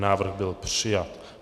Návrh byl přijat.